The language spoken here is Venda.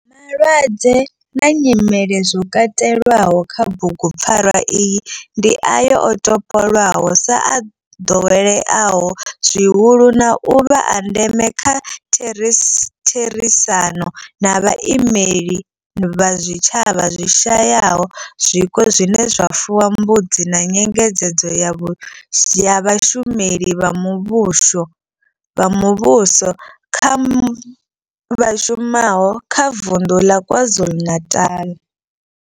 Malwadze na nyimele zwo katelwaho kha bugupfarwa iyi ndi ayo o topolwaho sa o ḓoweleaho zwihulu na u vha a ndeme nga kha therisano na vhaimeleli vha zwitshavha zwi shayaho zwiko zwine zwa fuwa mbudzi na nyengedzedzo ya vhashumeli vha muvhuso vha muvhuso vha shumaho kha vunḓu ḽa KwaZulu-Natal.